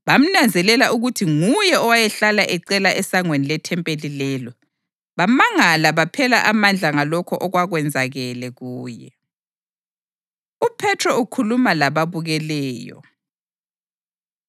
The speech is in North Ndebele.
bamnanzelela ukuthi nguye owayehlala ecela esangweni lethempeli lelo, bamangala baphela amandla ngalokho okwakwenzakele kuye. UPhethro Ukhuluma Lababukeleyo